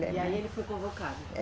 E aí ele foi convocado? É